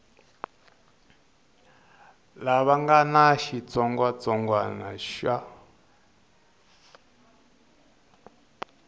lava nga na xitsongwatsongwana xa